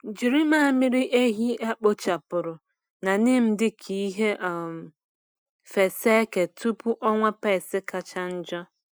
Jiri mmamịrị ehi a kpochapụrụ na neem dị ka ihe um fesa eke tupu ọnwa pests kacha njọ.